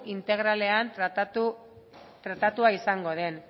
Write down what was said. integralean tratatua izango den